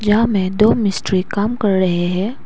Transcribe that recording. यहां में दो मिस्त्री काम कर रहे हैं।